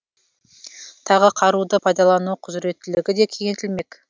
тағы қаруды пайдалану құзыреттілігі де кеңейтілмек